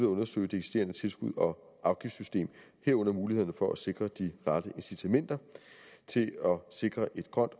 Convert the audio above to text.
at undersøge det eksisterende tilskuds og afgiftssystem herunder mulighederne for at sikre de rette incitamenter til at sikre et grønt